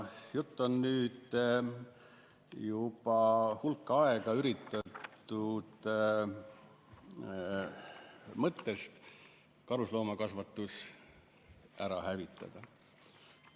Juttu on nüüd juba hulk aega üritatud mõttest karusloomakasvatus ära hävitada.